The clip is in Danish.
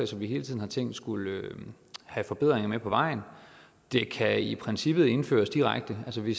som vi hele tiden har tænkt skulle have forbedringer med på vejen det kan i princippet indføres direkte altså vi